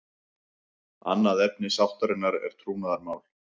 Annað efni sáttarinnar er trúnaðarmál